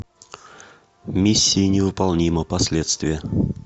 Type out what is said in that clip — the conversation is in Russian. миссия невыполнима последствия